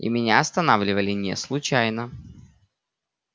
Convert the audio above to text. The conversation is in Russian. и меня останавливали не случайно